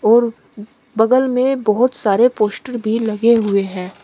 और बगल में बहुत सारे पोस्टर भी लगे हुए हैं।